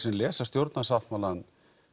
sem lesa stjórnarsáttmálann